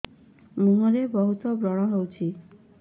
ମୁଁହରେ ବହୁତ ବ୍ରଣ ହଉଛି